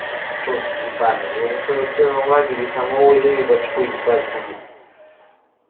черт ебанный его на сорок первом лагере самого же и в очко ебать будут